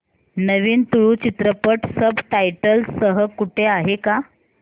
नवीन तुळू चित्रपट subtitles सह कुठे आहे का